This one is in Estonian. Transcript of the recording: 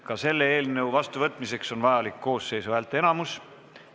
Ka selle eelnõu vastuvõtmiseks on vajalik koosseisu häälteenamus.